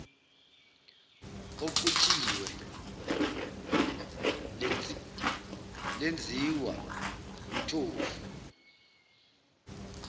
oxutshiwe lenziwa umthofu